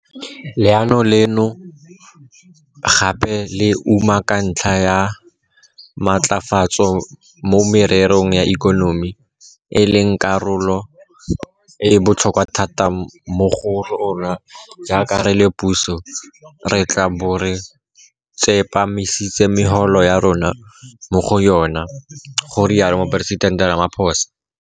Leano leno gape le umaka ntlha ya matlafatso mo mererong ya ikonomi, e leng karolo e e botlhokwa thata mo go rona jaaka re le puso, re tla bo re tsepamisitse megopolo ya rona mo go yona, ga rialo Moporesitente Ramaphosa.